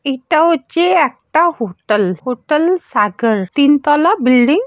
এটা হচ্ছে একটা হোটল হোটল সাগর তিন তলা বিল্ডিং --